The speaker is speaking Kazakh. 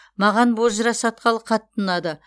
маған бозжыра шатқалы қатты ұнады